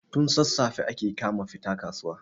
tun sassafe ake kama fita kasuwa